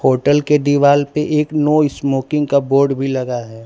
Hotel के दीवाल पे एक नो स्मोकिंग का बोर्ड भी लगा है।